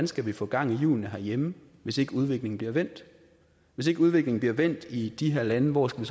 skal få gang i hjulene herhjemme hvis ikke udviklingen bliver vendt hvis ikke udviklingen bliver vendt i de her lande hvor skal